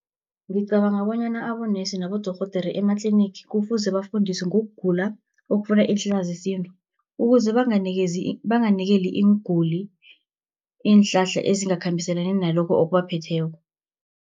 Ngicabanga bonyana abonesi nabodorhodere ematlinigi, kufuze bafundiswe ngokugula okufuna iinhlahla zesintu, ukuze banganikeli iinguli iinhlahla ezingakhambiselani nalokho okubaphetheko.